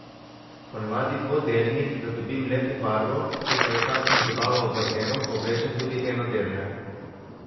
Ponavadi dvodelnih, da dobim lepo barvo, če pa je kakšna zabava ob bazenu, pa oblečem tudi enodelne.